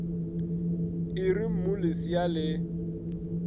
e re mmu lesea le